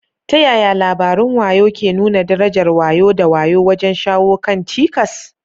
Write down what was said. Ta yaya labarun wayo ke nuna darajar wayo da wayo wajen shawo kan cikas?